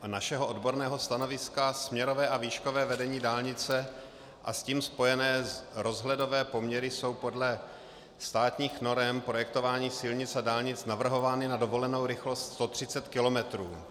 Podle našeho odborného stanoviska směrové a výškové vedení dálnice a s tím spojené rozhledové poměry jsou podle státních norem projektování silnic a dálnic navrhovány na dovolenou rychlost 130 km.